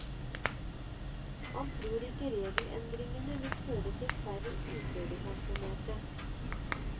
Han tror ikke regelendringene vil føre til færre uførepensjonerte.